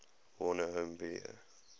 warner home video